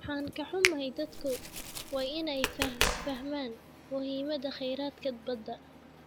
Waan ka xunnahay, dadku waa inay fahmaan muhiimadda kheyraadka badda.